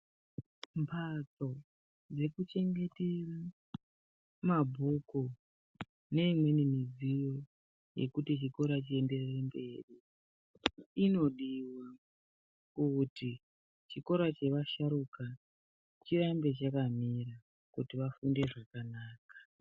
Mbatso dzeku chengetere mabhuku ne imweni midziyo yekuti chikora chi enderere mberi inodiwa kuti chikora che vasharuka chirambe chakamira kuti vafunde zvakanaka.